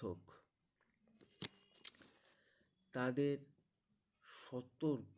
তাদের সতর